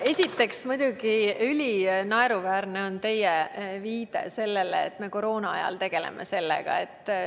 Esiteks on muidugi ülinaeruväärne teie etteheide, et me koroona ajal selle teemaga tegeleme.